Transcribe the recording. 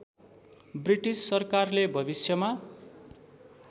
British सरकारले भविष्यमा